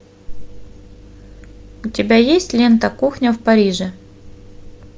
у тебя есть лента кухня в париже